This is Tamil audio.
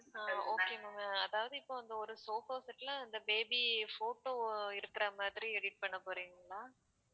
அஹ் okay ma'am அதாவது இப்ப அந்த ஒரு sofa set ல அந்த baby photo எடுக்குற மாதிரி edit பண்ண போறீங்களா